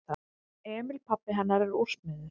Emil pabbi hennar er úrsmiður.